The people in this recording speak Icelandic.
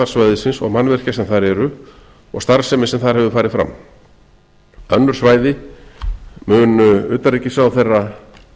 svæðisins og mannvirkja sem þar eru og starfsemi sem þar hefur farið fram önnur svæði mun utanríkisráðherra